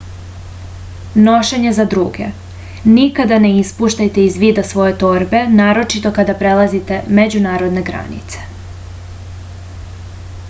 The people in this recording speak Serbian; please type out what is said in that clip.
nošenje za druge nikad ne ispuštajte iz vida svoje torbe naročito kada prelazite međunarodne granice